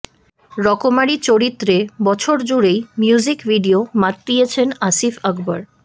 রকমারি চরিত্রে বছর জুড়েই মিউজিক ভিডিও মাতিয়েছেন আসিফ আকবর